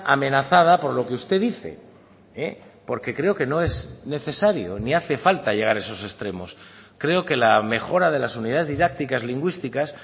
amenazada por lo que usted dice porque creo que no es necesario ni hace falta llegar a esos extremos creo que la mejora de las unidades didácticas lingüísticas